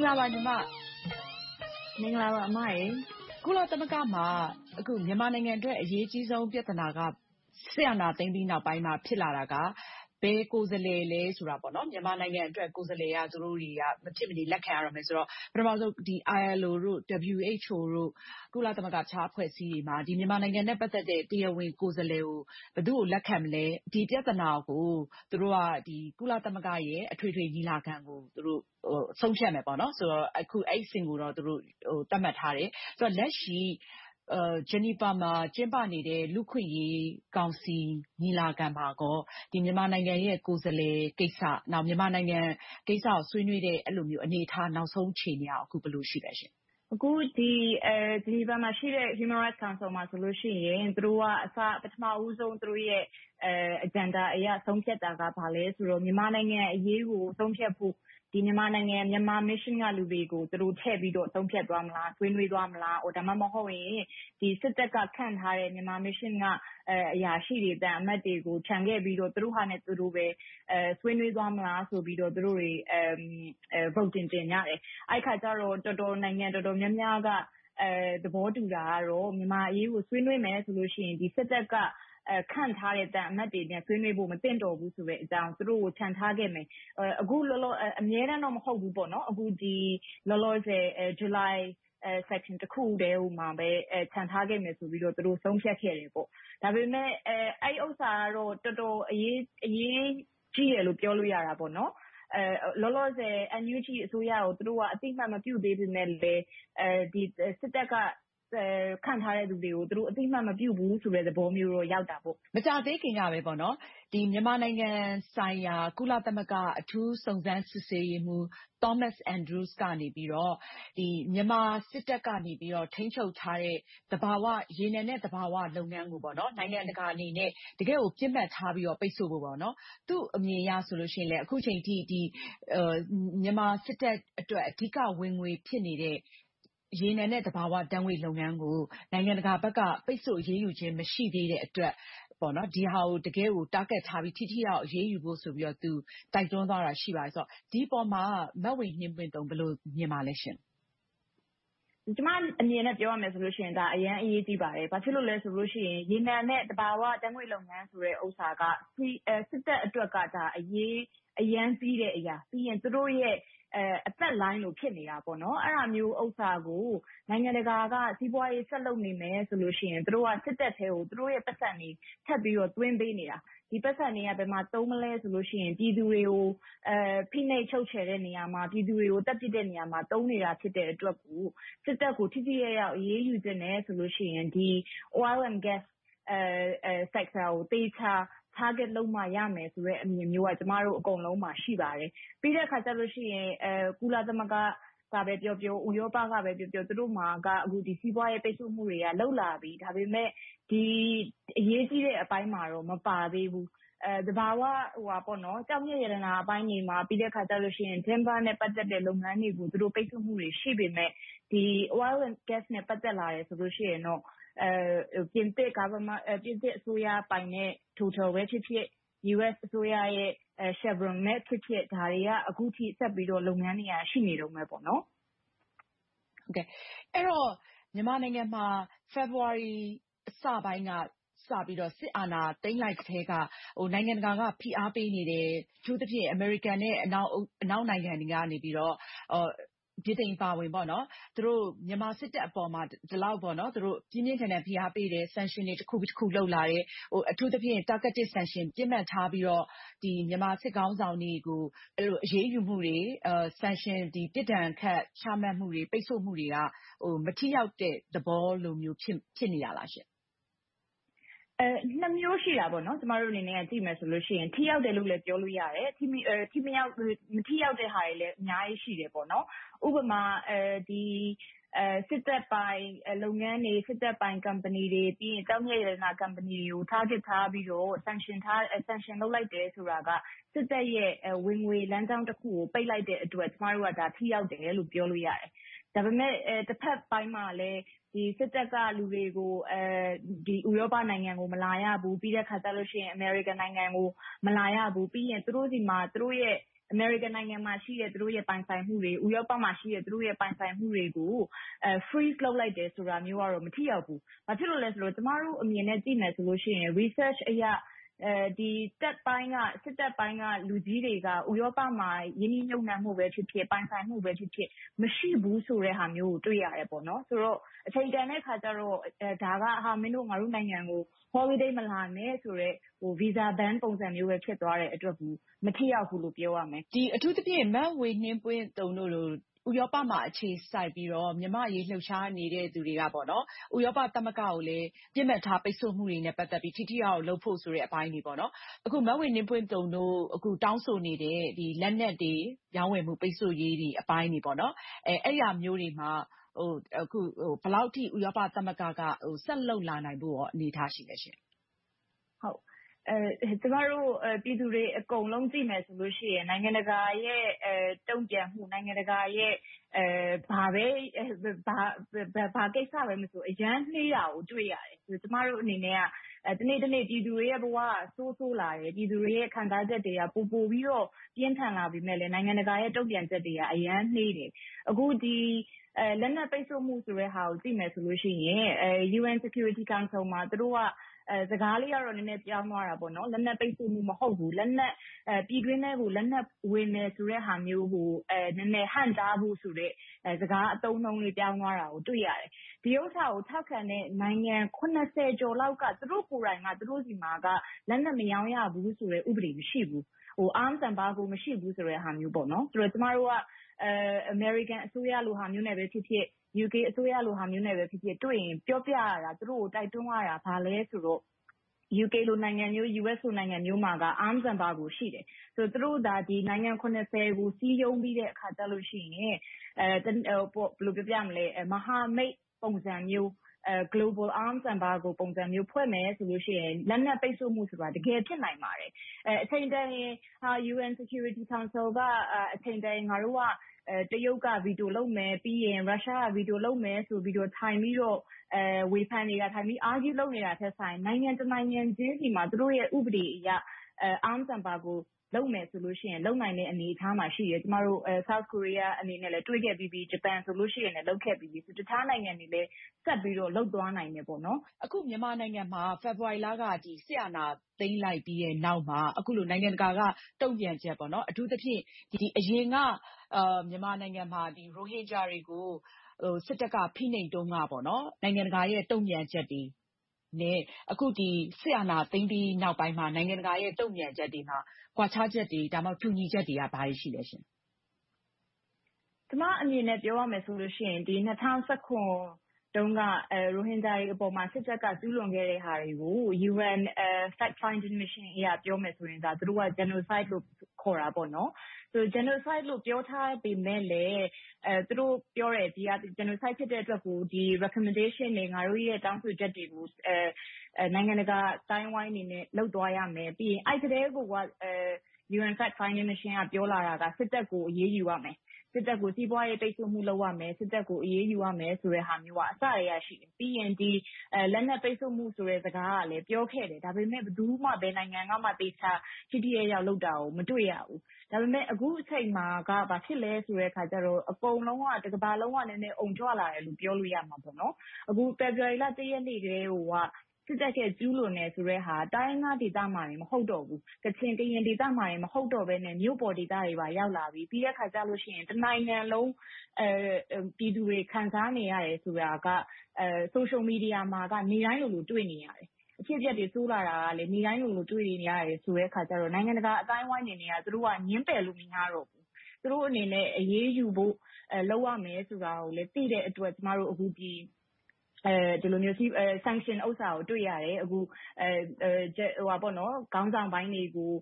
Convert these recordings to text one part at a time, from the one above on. င်္ဂလာပါညီမ။ ကုလသမဂ္ဂမှာ မြန်မာနိုင်ငံအတွက် အရေးကြီးဆုံး ပြဿနာက စစ်အာဏာသိမ်းပြီးနောက်ပိုင်းမှာ ဖြစ်လာတာက ဘယ်ကိုယ်စားလှယ်ဆိုတာပါပဲ။ မြန်မာနိုင်ငံအတွက် ကိုယ်စားလှယ်က သူတို့အတွက် မဖြစ်မနေ လက်ခံရတော့မယ်ဆိုတော့ ပထမဦးဆုံး ILO, WHO, ကုလသမဂ္ဂ အခြားအဖွဲ့အစည်းတွေမှာ မြန်မာနိုင်ငံနဲ့ ပတ်သက်တဲ့ တရားဝင်ကိုယ်စားလှယ်ကို ဘယ်သူ့ကိုလက်ခံမလဲ။ ဒီပြဿနာကို ကုလသမဂ္ဂရဲ့ အထွေထွေညီလာခံမှာ ဆုံးဖြတ်မယ်ဆိုတော့ အခု အဲဒီအဆင့်ကိုတော့ သတ်မှတ်ထားတယ်။ လက်ရှိ Geneva မှာ ကျင်းပနေတဲ့ လူ့အခွင့်အရေးကောင်စီ ညီလာခံမှာ မြန်မာနိုင်ငံရဲ့ ကိုယ်စားလှယ်ကိစ္စ။ နောက် မြန်မာနိုင်ငံကိစ္စကို ဆွေးနွေးတဲ့ အနေအထား နောက်ဆုံးအခြေအနေက ဘယ်လိုရှိသလဲ။ မင်္ဂလာပါ အမရေ။ အခု Geneva မှာရှိတဲ့ Human Rights Council မှာဆိုရင် သူတို့က ပထမဦးဆုံး သူတို့ရဲ့ Agenda အရ ဆုံးဖြတ်တာက ဘာလဲဆိုတော့ မြန်မာနိုင်ငံအရေးကို ဆုံးဖြတ်ဖို့ မြန်မာနိုင်ငံ Mission က လူတွေကို ထည့်ပြီးတော့ ဆုံးဖြတ်သွားမလား။ ဆွေးနွေးသွားမလား။ ဒါမှမဟုတ်ရင် စစ်တပ်က ခန့်ထားတဲ့ Myanmar Mission က အရာရှိတွေ၊ သံအမတ်တွေကို ချန်ခဲ့ပြီးတော့ သူတို့ဟာနဲ့သူတို့ပဲ ဆွေးနွေးသွားမလားဆိုတာကို သူတို့တွေ မဲပေးလုပ်ကြတယ်။ အဲဒီအခါကြတော့ နိုင်ငံတော်တော်များများက သဘောတူတာကတော့ မြန်မာအရေးကို ဆွေးနွေးမယ်ဆိုရင် စစ်တပ်က ခန့်ထားတဲ့ သံအမတ်တွေနဲ့ ဆွေးနွေးဖို့ မသင့်တော်ဘူးဆိုတဲ့အကြောင်း၊ သူတို့ကို ချန်ထားခဲ့မယ်။ အမြဲတမ်းတော့ မဟုတ်ဘူးပေါ့။ အခုလောလောဆယ် July Session တစ်ခုတည်းမှာပဲ ချန်ထားခဲ့မယ်ဆိုပြီးတော့ သူတို့ဆုံးဖြတ်ခဲ့တယ်။ ဒါပေမဲ့ အဲဒီကိစ္စကတော့ တော်တော်အရေးကြီးတယ်လို့ ပြောလို့ရတယ်။ လောလောဆယ် NUG အစိုးရကို သူတို့က အသိအမှတ်မပြုသေးပေမယ့်လဲ စစ်တပ်က ခန့်ထားတဲ့လူတွေကိုလည်း အသိအမှတ် မပြုဘူးဆိုတဲ့ သဘောမျိုးတော့ ရောက်တာပေါ့။ မကြာသေးခင်ကပဲ မြန်မာနိုင်ငံဆိုင်ရာ ကုလသမဂ္ဂ အထူးစုံစမ်းစစ်ဆေးရေးမှူး Thomas Andrews ကနေ မြန်မာစစ်တပ်ကနေ ထိန်းချုပ်ထားတဲ့ ရေနံနဲ့သဘာဝလုပ်ငန်းကို နိုင်ငံတကာအနေနဲ့ တကယ့်ကို ပစ်မှတ်ထားပြီးတော့ ပိတ်စို့ဖို့ ပြောတယ်။ သူ့အမြင်အရဆိုရင် အခုအချိန်အထိ မြန်မာစစ်တပ်အတွက် အဓိကဝင်ငွေဖြစ်နေတဲ့ ရေနံနဲ့ သဘာဝဓါတ်ငွေ့လုပ်ငန်းကို နိုင်ငံတကာဘက်က ပိတ်စို့အရေးယူခြင်း မရှိသေးတဲ့အတွက် ဒီဟာကို တကယ့်ကို target ထားပြီးတော့ ထိထိရောက်ရောက် အရေးယူဖို့ဆိုပြီးတော့ သူက တိုက်တွန်းသွားတာ ရှိပါတယ်။ ဒီအပေါ် မဝေနှင်းပွင့်သုန် ဘယ်လိုမြင်ပါသလဲရှင့်။ ကျမအမြင်ကို ပြောရမယ်ဆိုရင် ဒါ အရမ်းအရေးကြီးပါတယ်။ ဘာဖြစ်လို့လဲဆိုရင် ရေနံနဲ့ သဘာဝဓါတ်ငွေ့လုပ်ငန်းဆိုတဲ့ဟာက စစ်တပ်အတွက်က အရမ်းအရေးကြီးတဲ့အရာ။ ပြီးရင် သူတို့ရဲ့ အသက်လိုင်းလို ဖြစ်နေတာ။ အဲဒါမျိုးကို နိုင်ငံတကာက စီးပွားရေး ဆက်လုပ်နေမယ်ဆိုရင် စစ်တပ်ထဲကို သူတို့ရဲ့ ပိုက်ဆံတွေ ထပ်ပြီးတော့ သွင်းပေးနေတာ။ ဒီပိုက်ဆံတွေကို ဘယ်မှာသုံးမလဲဆိုရင် ပြည်သူတွေကို ဖိနှိပ်ချုပ်ချယ်တဲ့နေရာမှာ၊ ပြည်သူတွေကို သတ်ပြစ်တဲ့နေရာမှာ သုံးနေတာ ဖြစ်နေတဲ့အတွက်ကြောင့် စစ်တပ်ကို ထိထိရောက်ရောက် အရေးယူမယ်ဆိုရင် ရေနံနဲ့ သဘာဝဓါတ်ငွေ့ Oil and Gas sector ကို သေချာပစ်မှတ် Target လုပ်မှ ရမယ်ဆိုတဲ့အမြင်မျိုးက ကျမတို့အားလုံးမှာ ရှိပါတယ်။ ပြီးတဲ့အခါ ကုလသမဂ္ဂကပဲပြောပြော၊ ဥရောပကပဲပြောပြော သူတို့မှာ စီးပွားရေးပိတ်စို့မှုတွေက စလုပ်လာပြီ။ ဒါပေမဲ့ ဒီအရေးကြီးတဲ့အပိုင်းမှာတော့ မပါသေးဘူး။ သဘာဝဓါတ်ငွေ့နဲ့ ကျောက်မျက်ရတနာပိုင်းတွေမှာ။ ပြီးတော့ သစ်ထုတ်လုပ်ရေး လုပ်ငန်းတွေကို ပိတ်စို့မှုတွေ ရှိပေမယ့်၊ ဒီ ရေနံနဲ့ သဘာဝဓါတ်ငွေ့တို့နဲ့ ပတ်သက်လာတယ်ဆိုရင်တော့ ပြင်သစ်အစိုးရပိုင်တဲ့ Total ပဲဖြစ်ဖြစ်၊ US အစိုးရရဲ့ Chevron ပဲဖြစ်ဖြစ်၊ ဒါတွေက အခုထက်ထိ လုပ်ငန်းတွေ ရှိနေသေးတယ်။ အဲဒီတော့ မြန်မာနိုင်ငံမှာ ဖေဖေါ်ဝါရီလ အစပိုင်းက စစ်အာဏာသိမ်းလိုက်ကတည်းက နိုင်ငံတကာက ဖိအားပေးနေတယ်။ အထူးသဖြင့် အမေရိကန်နဲ့ အနောက်နိုင်ငံတွေ ဗြိတိန်အပါအဝင်၊ သူတို့ မြန်မာစစ်တပ်အပေါ် ဒီလောက်အထိ ပြင်းပြင်းထန်ထန် ဖိအားပေးတယ်။ Sanction တွေ တခုပြီးတခု လုပ်လာတယ်။ အထူးသဖြင့် Targeted Sanctions ပစ်မှတ်ထားပြီးတော့ မြန်မာစစ်ခေါင်းဆောင်တွေကို အရေးယူမှုတွေ၊ ပြစ်ဒဏ်ခတ် ချမှတ်မှုတွေ ပိတ်စို့မှုတွေက မထိရောက်တဲ့ သဘောလိုမျိုး ဖြစ်နေတာလားရှင့်။ နှစ်မျိုးရှိတာပေါ့။ ကျမတို့ ဒါကိုကြည့်မယ်ဆိုရင် ထိရောက်တယ်လို့လဲ ပြောလို့ရတယ်။ မထိရောက်တဲ့ဟာတွေလဲ အများကြီးရှိတယ်။ ဥပမာ စစ်တပ်ပိုင် လုပ်ငန်းတွေ၊ စစ်တပ်ပိုင် ကုမ္ပဏီတွေ၊ ကျောက်မျက်ရတနာ ကုမ္ပဏီတွေကို ပစ်မှတ်ထားပြီးတော့ ပိတ်စို့မှု လုပ်လိုက်တယ်ဆိုတာက စစ်တပ်ရဲ့ ဝင်ငွေလမ်းကြောင်းတခုကို ပိတ်လိုက်တဲ့အတွက် ကျမတို့က ထိရောက်တယ်လို့ ပြောလို့ရတယ်။ ဒါပေမဲ့ တဘက်ပိုင်းမှာလဲ စစ်တပ်က လူတွေကို ဥရောပနိုင်ငံကို မလာရဘူး။ ပြီးတော့ အမေရိကန်နိုင်ငံကို မလာရဘူး။ ပြီးနောက် အမေရိကန်နိုင်ငံမှာရှိတဲ့ စစ်အုပ်စုရဲ့ ပိုင်ဆိုင်မှုတွေ၊ ဥရောပမှာရှိတဲ့ ပိုင်ဆိုင်မှုတွေကို ထိန်းချုပ်လိုက်တယ်ဆိုတာမျိုးက မထိရောက်ဘူး။ ဘာဖြစ်လို့လဲဆိုတော့ ကျမတို့အမြင်နဲ့ ကြည့်မယ်ဆိုရင် သုတေသန research အရ စစ်တပ်ပိုင်းက လူကြီးတွေက ဥရောပမှာ ရင်းနှီးမြုပ်နံှဖို့ပဲဖြစ်ဖြစ်၊ ပိုင်ဆိုင်မှုပဲဖြစ်ဖြစ် မရှိဘူးဆိုတာမျိုးကို တွေ့ရတယ်။ အချိန်တန်တဲ့အခါကြတော့ ဒါက ‘မင်းတို့ ငါတို့နိုင်ငံကို Holiday မလာနဲ့ဆိုရင် visa ban ပုံစံမျိုးပဲ ဖြစ်သွားတဲ့အတွက် မထိရောက်ဘူးလို့ ပြောရမယ်။ အထူးသဖြင့် မဝေနှင်းပွင့်သုန်တို့လို ဥရောပမှာ အခြေစိုက်ပြီးတော့ မြန်မာ့အရေး လှုပ်ရှားနေသူတွေက ဥရောပသမဂ္ဂကိုလည်း ပစ်မှတ်ထားပိတ်စို့မှုတွေနဲ့ ပတ်သက်ပြီးတော့ ထိထိရောက်ရောက် လုပ်ဖို့ဆိုတဲ့အပိုင်းတွေ။ အခု မဝေနှင်းပွင့်သုန်တို့ တောင်းဆိုနေတဲ့ လက်နက်တွေ ရောင်းဝယ်မှု၊ ပိတ်စို့ရေးတွေအပိုင်းတွေ။ အဲဒီလိုမျိုးတွေမှာ ဘယ်လောက်အထိ အခု ဥရောပသမဂ္ဂက ဆက်လုပ်လာနိုင်ဖို့ အနေအထား ရှိပါသလဲ။ ကျမတို့ ပြည်သူတွေ အကုန်လုံး ကြည့်မယ်ဆိုရင် နိုင်ငံတကာရဲ့ တုံ့ပြန်မှု၊ နိုင်ငံတကာရဲ့ ဘာကိစ္စမဆို အရမ်းနှေးတာကို တွေ့ရတယ်။ ကျမတို့အနေနဲ့ တနေ့တနေ့ ပြည်သူတွေရဲ့ ဘဝက ဆိုးဆိုးလာတယ်။ ပြည်သူတွေရဲ့ ခံစားချက်တွေက ပိုမိုပြီးတော့ ပြင်းထန်လာပေမယ့်လဲ နိုင်ငံတကာရဲ့ တုံ့ပြန်ချက်တွေက အရမ်းနှေးတယ်။ အခု လက်နက်ပိတ်စို့မှုကို ကြည့်မယ်ဆိုရင် UN Security Council မှာ သူတို့က စကားလေးကတော့ နည်းနည်းပြောင်းသွားတာပေါ့။ လက်နက်ပိတ်စို့မှု မဟုတ်ဘူး။ ပြည်တွင်းထဲကို လက်နက်ဝင်မယ့်ဟာမျိုးကို ဟန့်တားဖို့ဆိုတဲ့ စကားအသုံးအနှုန်း ပြောင်းသွားတာကို တွေ့ရတယ်။ ဒီဥစ္စာကို ထောက်ခံတဲ့ နိုင်ငံ ကျော်လောက်က သူတို့ကိုယ်တိုင်က သူတို့ဆီမှာ လက်နက်မရောင်းရဘူးဆိုတဲ့ ဥပဒေမရှိဘူး။ Arms embargo မရှိဘူးဆိုတဲ့ သဘောမျိုး။ ကျမတို့က အမေရိကန်အစိုးရလိုဟာမျိုးနဲ့ပဲဖြစ်ဖြစ်၊ UK အစိုးရလိုဟာမျိုးနဲ့ဖြစ်ဖြစ် တွေ့ရင် ပြောပြရတာ၊ သူတို့ကို တိုက်တွန်းရတာ ဘာလဲဆိုတော့ UK, US လို နိုင်ငံမျိုးမှာက Arms embargo ရှိတယ်။ သူတို့သာ နိုင်ငံ ကို စည်းရုံးပြီးတဲ့အခါကြရင် မဟာမိတ်ပုံစံမျိုး Global Arms Embargo ပုံစံမျိုး ဖွဲ့မယ်ဆိုရင်၊ လက်နက်ပိတ်စို့မှုဆိုတာ တကယ်ဖြစ်နိုင်ပါတယ်။ အချိန်တန်ရင် UN Security Council က အချိန်တန်ရင် ငါတို့က တရုတ်က Veto လုပ်မယ်၊ ရုရှားက Veto လုပ်မယ်ဆိုပြီးတော့ ထိုင်ပြီးတော့ ဝေဖန်နေတာ၊ ထိုင်ပြီးတော့ Argue လုပ်နေတာထက်စာရင် နိုင်ငံတနိုင်ငံချင်းဆီမှာ သူတို့ရဲ့ ဥပဒေအရ Arms embargo လုပ်မယ်ဆိုရင် လုပ်နိုင်တဲ့ အနေအထားမှာ ရှိတယ်။ တောင်ကိုရီးယားအနေနဲ့လဲ တွေ့ခဲ့ပြီးပြီ။ ဂျပန်အနေနဲ့လဲ လုပ်ခဲ့ပြီးပြီ။ တခြားနိုင်ငံတွေလဲ ဆက်ပြီးတော့ လုပ်သွားနိုင်တယ်။ အခုမြန်မာနိုင်ငံမှာ ဖေဖေါ်ဝါရီလက စစ်အာဏာသိမ်းလိုက်ပြီးနောက်မှာ အခုလို နိုင်ငံတကာက တုံ့ပြန်ချက်။ အထူးသဖြင့် အရင်က မြန်မာနိုင်ငံမှာ ရိုဟင်ဂျာတွေကို စစ်တပ်က ဖိနှိပ်တုန်းက နိုင်ငံတကာရဲ့ တုံ့ပြန်ချက်တွေနဲ့ အခု စစ်အာဏာသိမ်းပြီးနောက်ပိုင်းမှာ နိုင်ငံတကာရဲ့ တုံ့ပြန်ချက်တွေဟာ ကွာခြားချက်တွေ၊ တူညီချက်တွေက ဘာတွေရှိသလဲရှင့်။ ကျမအနေနဲ့ ပြောရမယ်ဆိုရင် ၂၀၁၇ တုန်းက ရိုဟင်ဂျာတွေအပေါ် စစ်တပ်က ကျူးလွန်ခဲ့တဲ့ဟာတွေကို UN Fact-finding အရ ပြောမယ်ဆိုရင် သူတို့က Genocide လို့ ခေါ်တယ်။ Genocide လို့ ပြောထားပေမယ့်လဲ ဒီဟာကို Recommendation တွေ၊ တောင်းဆိုချက်တွေကို နိုင်ငံတကာအသိုင်းအဝိုင်းအနေနဲ့ လုပ်သွားရမယ်။ အဲဒီအချိန်ကတည်းက UN Fact-finding က ပြောလာတာက စစ်တပ်ကို အရေးယူရမယ်။ စစ်တပ်ကို စီးပွားရေးပိတ်စို့မှု လုပ်ရမယ်ဆိုတဲ့ဟာက အစကတည်းက ရှိတယ်။ ပြီးရင် လက်နက်ပိတ်စို့မှု စကားကလဲ ပြောခဲ့တယ်။ ဒါပေမဲ့ ဘယ်သူမှ ဘယ်နိုင်ငံမှ သေချာထိထိရောက်ရောက် လုပ်တာကို မတွေ့ရဘူး။ ဒါပေမဲ့ အခုအချိန်မှာက ဘာဖြစ်လဲဆိုတော့ အကုန်လုံးက တကမ္ဘာလုံးက အုံကြွလာတယ်လို့ ပြောလို့ရတယ်။ အခု ဖေဖေါ်ဝါရီလ ရက်နေ့ကတည်းက စစ်တပ်ရဲ့ ကျူးလွန်တဲ့ဟာက တိုင်းရင်းသားဒေသတွေမှာတင် မဟုတ်တော့ဘူး။ ကချင်၊ ကရင်ဒေသတင် မဟုတ်တော့ဘဲနဲ့ မြို့ပေါ်ဒေသတွေကို ရောက်ရှိလာပြီ။ ပြီးတဲ့အခါ တနိုင်ငံလုံး ပြည်သူတွေ ခံစားနေရတယ်ဆိုတာက Social Media မှာ နေတိုင်းလိုလို တွေ့နေရတယ်။ အဖြစ်အပျက်တွေ ဆိုးလာတာကလဲ နေ့တိုင်းလိုလို တွေ့နေရတယ်ဆိုတော့ နိုင်ငံတကာအသိုင်းအဝိုင်းအနေနဲ့ သူတို့က ငြင်းပယ်လို့ မရတော့ဘူး။ သူတို့အနေနဲ့ အရေးယူဖို့ လုပ်ရမယ်ဆိုတာကို သိတဲ့အတွက် ကျမတို့ ဒီလိုမျိုး Sanction ဟာမျိုးကို တွေ့ရတယ်။ ခေါင်းဆောင်ပိုင်းတွေကို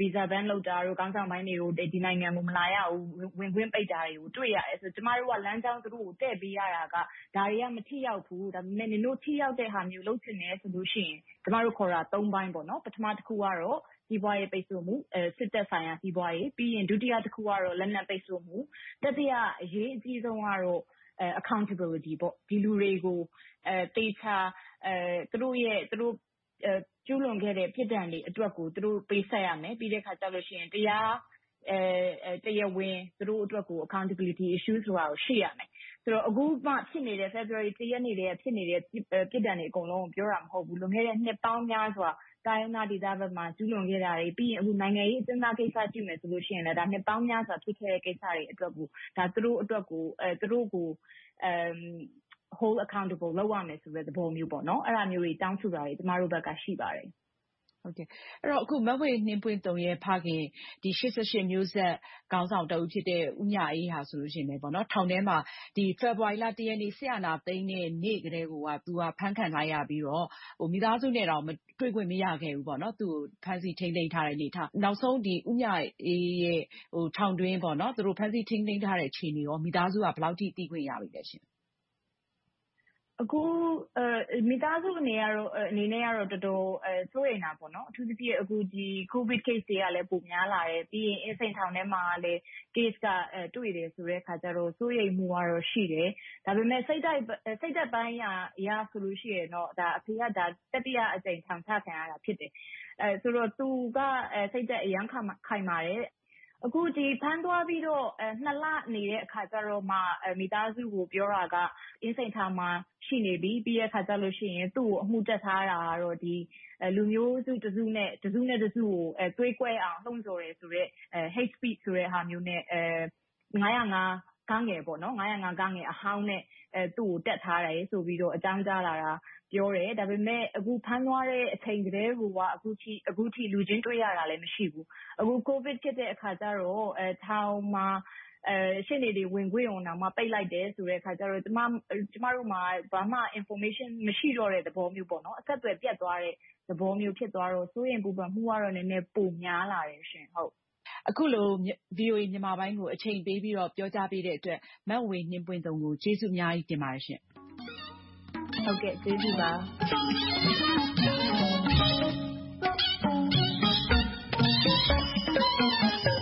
Visa ban လုပ်တာတို့၊ ခေါင်းဆောင်ပိုင်းတွေကို ဒီနိုင်ငံကို မလာရဘူး၊ ဝင်ခွင့်ပိတ်တာကို တွေ့ရတယ်။ ကျမတို့က လမ်းကြောင်းတခုကို တည့်ပေးရတာက ဒါတွေက မထိရောက်ဘူး။ ဒါပေမဲ့ ထိရောက်တဲ့ဟာမျိုး လုပ်ချင်တယ်ဆိုရင် ကျမတို့ခေါ်တာ ပိုင်း။ ပထမတခုကတော့ စီးပွားရေးပိတ်စို့မှု။ စစ်တပ်ဆိုင်ရာ စီးပွားရေး။ ဒုတိယကတော့ လက်နက်ပိတ်စို့မှု။ တတိယ အရေးကြီးဆုံးကတော့ Accountability ဒီလူတွေကို သူတို့ကျူးလွန်ခဲ့တဲ့ ပြစ်ဒဏ်တွေအတွက်ကို ပေးဆပ်ရမယ်။ ပြီးနောက် တရားဝင် သူတို့အတွက်ကို Accountability Issue ဆိုတာကို ရှိရမယ်။ အခု ဖေဖေါ်ဝါရီလ ရက်နေ့ကတည်းက ဖြစ်နေတဲ့ ပြစ်ဒဏ်တွေ အကုန်လုံးကို ပြောတာမဟုတ်ဘူး။ လွန်ခဲ့တဲ့ နှစ်ပေါင်းများစွာ တိုင်းရင်းသားဒေသတွေမှာ ကျူးလွန်ခဲ့တာတွေ။ ပြီးနောက် နိုင်ငံရေးအကျဉ်းသားကိစ္စကို ကြည့်မယ်ဆိုရင်လဲ နှစ်ပေါင်းများစွာ ဖြစ်ခဲ့တဲ့ကိစ္စတွေကို သူတို့ကို အရေးယူရမယ်ဆိုတဲ့ သဘောမျိုး။ အဲဒါမျိုးတွေ တောင်းဆိုနေတာတွေ ကျမတို့ဘက်မှာ ရှိပါတယ်။ အခု မဝေနှင်းပွင့်သုန်ရဲ့ ဖခင် ၈၈ မျိုးဆက် ခေါင်းဆောင်တဦးဖြစ်တဲ့ ဦးမြအေးဆိုရင် ထောင်ထဲမှာ ဖေဖေါ်ဝါရီလ ရက်နေ့ စစ်အာဏာသိမ်းတဲ့ နေ့ကတည်းကိုက သူက အဖမ်းခံထားရပြီး မိသားစုနဲ့တောင် တွေ့ခွင့်မရဘူး။ သူကို ဖမ်းဆီးထိန်းသိမ်းထားတယ်။ နောက်ဆုံး ဦးမြအေးရဲ့ ဖမ်းဆီးထိန်းသိမ်းထားတဲ့ အခြေအနေကို မိသားစုက ဘယ်လောက်ထိ သိခွင့်ရသလဲရှင့်။ မိသားစုအနေနဲ့တော့ တော်တော်လေး စိုးရိမ်တာပေါ့။ အထူးသဖြင့် ကိုဗစ်ရောဂါတွေကလဲ ပိုများလာတယ်။ ပြီးတော့ အင်းစိန်ထောင်ထဲမှာလဲ Case က တွေ့တယ်ဆိုတော့ စိုးရိမ်မှုကတော့ ရှိတယ်။ ဒါပေမဲ့ စိတ်ဓါတ်ပိုင်းရာအရဆိုရင်တော့ အဖေက တတိယအကြိမ် ထောင်ချခံရတာ ဖြစ်တယ်။ သူက စိတ်ဓါတ်အရမ်းခိုင်မာတယ်။ အခု ဖမ်းသွားပြီးတော့ နှစ်လအကြာမှ မိသားစုကို ပြောတာက အင်းစိန်ထောင်မှာ ရှိနေပြီ။ ပြီးတော့ သူကို အမှုတပ်ထားတာကတော့ လူမျိုးစုတစုနဲ့ တစုကို သွေးကွဲအောင် လှုံဆော်တယ်ဆိုတဲ့ Hate speech ဆိုတဲ့ပုဒ်မနဲ့ ၅၀၅ အဟောင်းနဲ့ သူကိုစွဲဆိုထားတယ်လို့ အကြောင်းကြားတယ်။ ဒါပေမဲ့ အခု ဖမ်းသွားတဲ့အချိန်ကတည်းကိုက အခုထိ လူချင်းတွေ့ရတာလဲ မရှိဘူး။ အခု ကိုဗစ်ဖြစ်တဲ့အခါကြတော့ ထောင်မှာ ရှေ့နေတွေ ဝင်ခွင့်ကိုတောင်မှ ပိတ်လိုက်တယ်ဆိုတော့ ကျမတို့မှာ ဘာမှ အချက်အလက် information မရှိတော့တဲ့ သဘောမျိုး။ အဆက်အသွယ် ပြတ်သွားတဲ့ သဘောမျိုး ဖြစ်သွားတော့ စိုးရိမ်ပူပန်မှုကတော့ ပိုများလာတယ်။ အခုလို VOA မြန်မာပိုင်းကို အချိန်ပေးပြီး ပြောကြားပေးတဲ့အတွက် မဝေနှင်းပွင့်သုန်ကို ကျေးဇူးအများကြီးတင်ပါတယ်ရှင့်။ ဟုတ်ကဲ့ ကျေးဇူးပါ။